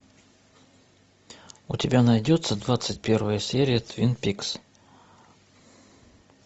у тебя найдется двадцать первая серия твин пикс